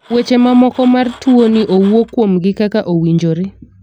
weche ma moko mar tuo ni owuo kuom gi kaka owinjore.